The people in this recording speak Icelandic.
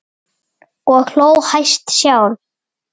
Og hló hæst sjálf.